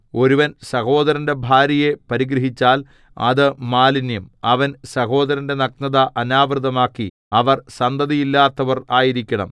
ഒരുവൻ സഹോദരന്റെ ഭാര്യയെ പരിഗ്രഹിച്ചാൽ അത് മാലിന്യം അവൻ സഹോദരന്റെ നഗ്നത അനാവൃതമാക്കി അവർ സന്തതിയില്ലാത്തവർ ആയിരിക്കണം